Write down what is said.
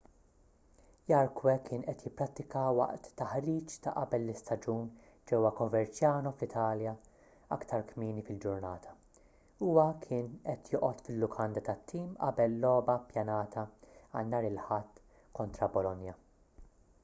jarque kien qed jipprattika waqt taħriġ ta' qabel l-istaġun ġewwa coverciano fl-italja aktar kmieni fil-ġurnata huwa kien qed joqgħod fil-lukanda tat-tim qabel logħba ppjanata għal nhar il-ħadd kontra bolonia